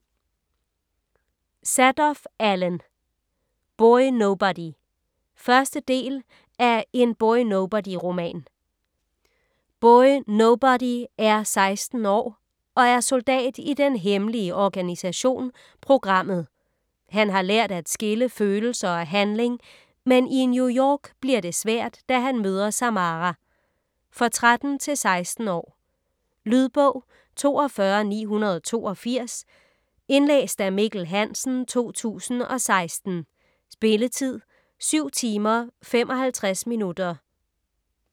Zadoff, Allen: Boy Nobody 1. del af En Boy Nobody roman. Boy Nobody er 16 år og og soldat i den hemmelige organisation "Programmet". Han har lært at skille følelser og handling, men i New York bliver det svært da han møder Samara. For 13-16 år. Lydbog 42982 Indlæst af Mikkel Hansen, 2016. Spilletid: 7 timer, 55 minutter.